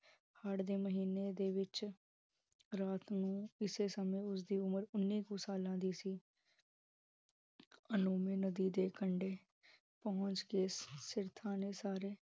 ਹਾੜ ਦੇ ਮਹੀਨੇ ਦੇ ਵਿਚ ਰਾਤ ਨੂੰ ਇਸੇ ਸਮੇ, ਉਸਦੀ ਉਮਰ ਉੰਨੀ ਕੁ, ਸਾਲਾਂ ਦੀ ਸੀ ਅਨੋਮੀ ਨਦੀ ਦੇ ਕੰਡੇ, ਪਹੁੰਚ ਕੇ ਨੇ ਸਾਰੇ